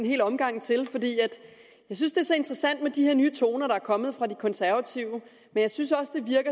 en hel omgang til fordi jeg synes det er så interessant med de her nye toner der er kommet fra de konservative men jeg synes også det